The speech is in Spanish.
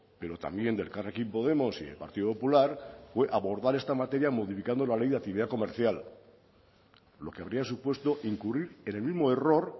pero también de elkarrekin podemos y del partido popular fue abordar esta materia modificando la ley de actividad comercial lo que habría supuesto incurrir en el mismo error